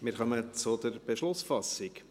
Wir kommen zur Beschlussfassung.